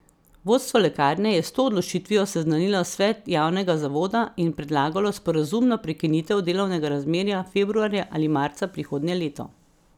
Vodstvo lekarne je s to odločitvijo seznanilo svet javnega zavoda in predlagalo sporazumno prekinitev delovnega razmerja februarja ali marca prihodnje leto.